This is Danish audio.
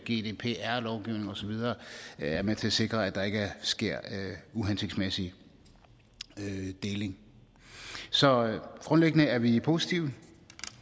gdpr lovgivning og så videre er med til at sikre at der ikke sker uhensigtsmæssig deling så grundlæggende er vi positive